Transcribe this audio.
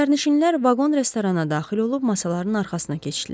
Sərnişinlər vaqon restorana daxil olub masaların arxasına keçdilər.